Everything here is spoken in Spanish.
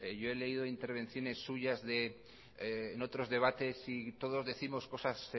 yo he leído intervenciones suyas en otros debates y todos décimos cosas